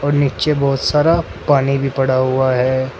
और नीचे बहुत सारा पानी भी पड़ा हुआ है।